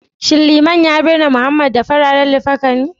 shin liman ya binne Mohammed da Fararen likafani?